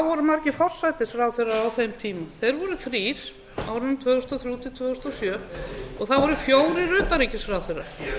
voru margir forsætisráðherrar á þeim tíma þeir voru þrír á árunum tvö þúsund og þrjú til tvö þúsund og sjö og það voru fjórir utanríkisráðherrar